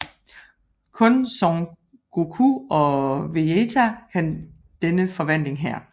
Kun Son Goku og Vejita kan denne forvandling her